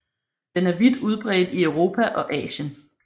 Den er vidt udbredt i Europa og Asien